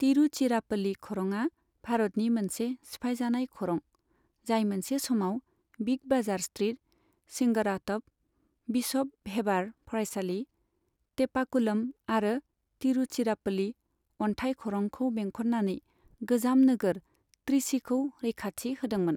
तिरुचिरापल्ली खरङा भारतनि मोनसे सिफायजानाय खरं, जाय मोनसे समाव big bazaar street, Singarathope, bishop Heber फरायसालि, टेपाकुलम आरो तिरुचिरापल्ली अनथाइ खरंखौ बेंखननानै गोजाम नोगोर त्रिचीखौ रैखाथि होदोंमोन।